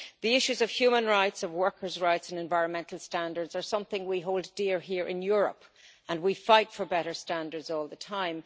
The issues of human rights, workers' rights and environmental standards are something we hold dear here in Europe, and we fight for better standards all the time.